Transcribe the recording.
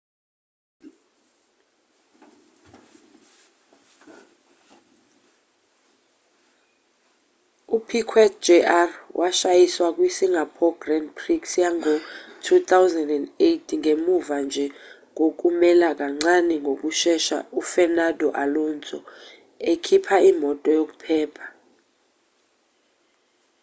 u-piquet jr washayisa kwi singapore grand prix yango-2008ngemuva nje kokumela kancane ngokushesha u-fernando alonso ekhipha imoto yokuphepha